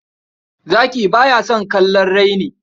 Zaki ba ya son kallon raini.